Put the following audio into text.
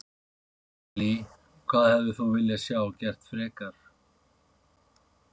Lillý: Hvað hefðir þú viljað sjá gert frekar?